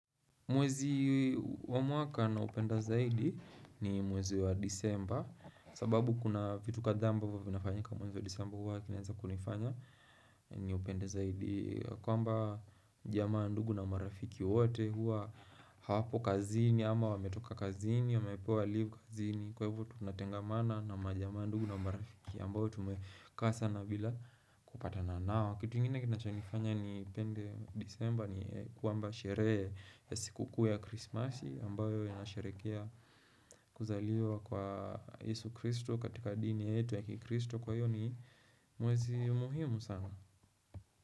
Mwezi wa mwaka na upenda zaidi ni mwezi wa disemba sababu kuna vitu kadhaa ambavo vinafanyika mwezi wa disemba huwa vinaeza kunifanya ni upende zaidi kwamba jamaa ndugu na marafiki wote huwa hawapo kazini ama wametoka kazini, wamepewa live kazini Kwa hivo tunatengamana na majamaa ndugu na marafiki ambao tumekaa sana bila kupatana nao kitu ingine kinachonifanya nipende disemba ni kwamba sheree ya sikuku ya krismasi ambayo inasherekea kuzaliwa kwa Yesu kristo katika dini yetu ya kikristo kwa hiyo ni muwezi muhimu sana.